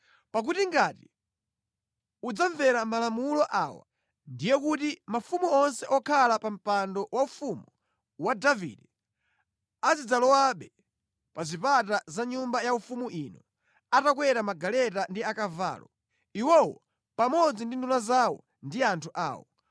Pakuti ngati udzamvera malamulo awa, ndiye kuti mafumu onse okhala pa mpando waufumu wa Davide azidzalowabe pa zipata za nyumba yaufumu ino, atakwera magaleta ndi akavalo, iwowo pamodzi ndi nduna zawo ndi anthu awo.